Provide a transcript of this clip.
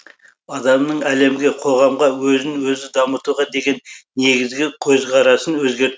адамның әлемге қоғамға өзін өзі дамытуға деген негізгі көзқарасын өзгерт